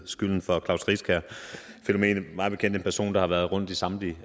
skylden for klaus riskær fænomenet mig bekendt en person der har været rundt i samtlige